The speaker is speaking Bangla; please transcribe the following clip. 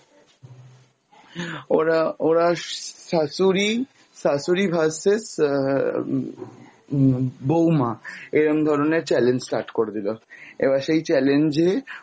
ওরা, ওরা শাশুড়ি শাশুড়ি VS আহ উম বৌমা, এরম ধরনের challenge start করে দিলো এবার সেই challenge এ